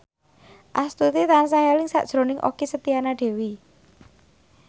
Astuti tansah eling sakjroning Okky Setiana Dewi